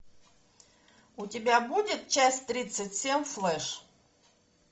у тебя будет часть тридцать семь флэш